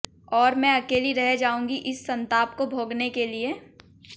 और में अकेली रह जाऊंगी इस संताप को भोगने के लिए